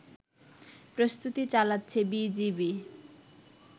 প্রস্তুতি চালাচ্ছে বিজিবি